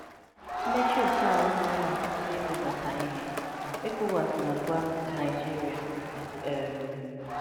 Mmechi oke ala agaghị akwụsi ịzụbata ihe, ECOWAS na-agwa Naịjirịa. um